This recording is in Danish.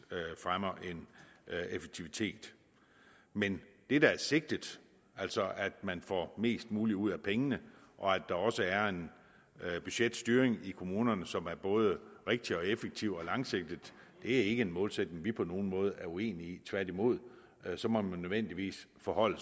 fremmer en effektivitet men det der er sigtet altså at man får mest muligt ud af pengene og at der også er en budgetstyring i kommunerne som er både rigtig og effektiv og langsigtet er ikke en målsætning vi på nogen måde er uenig i tværtimod så må man nødvendigvis forholde